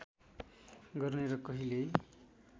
गर्ने र कहिल्यै